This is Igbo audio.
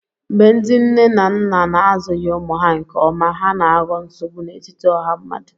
Mgbe ndị nne na nna na-azụghị ụmụ ha nke ọma, ha na-aghọ nsogbu n'etiti ọha mmadụ